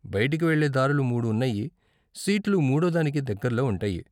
బయటికి వెళ్ళే దారులు మూడు ఉన్నాయి, సీట్లు మూడో దానికి దగ్గరలో ఉంటాయి.